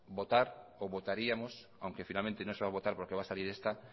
votar o votaríamos aunque finalmente no se va a votar porque va a salir esta